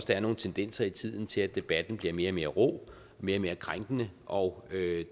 der er nogle tendenser i tiden til at debatten bliver mere og mere rå mere og mere krænkende og